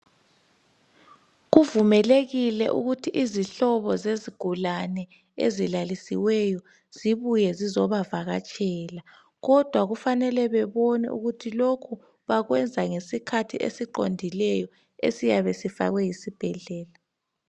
Kuvumelekile ukuthi izihlobo zezigulane ezilalisiweyo zibuye zizobavakatshela kodwa kufanele bebone ukuthi lokhu bakwenza ngesikhathi esiqondileyo esiyabe sifakwe yisibhedlela